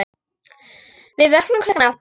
Við vöknum klukkan átta.